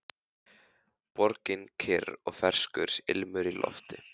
Borgin kyrr og ferskur ilmur í lofti.